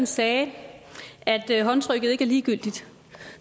sagde her at håndtrykket ikke er ligegyldigt